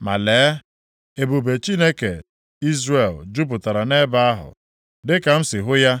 Ma, lee, ebube Chineke Izrel jupụtara nʼebe ahụ, dị ka m si hụ ya